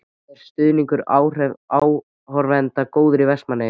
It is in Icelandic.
Er stuðningur áhorfenda góður í Vestmannaeyjum?